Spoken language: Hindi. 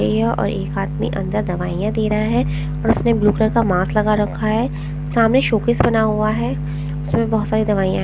ए य और एक हाथ में अंदर दवाइयाँ दे रहा हैं और उसने ब्लू कलर का मास्क लगा रखा हैं सामने शोकेस बना हुआ हैं उसमें बहुत सारी दवाइयाँ --